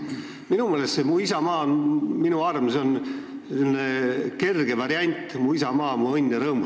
Minu meelest on "Mu isamaa on minu arm" kerge variant laulust "Mu isamaa, mu õnn ja rõõm".